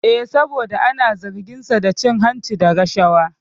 Eh, saboda ana zargin sa da cin hanci da rashawa